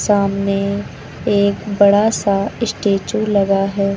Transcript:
सामने एक बड़ा सा स्टैच्यू लगा है।